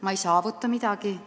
Ma ei saavuta midagi.